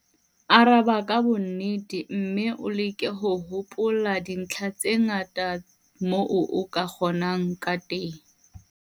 Araba ka bonnete mme o leke ho hopola dintlha tse ngata kamoo o ka kgonang ka teng.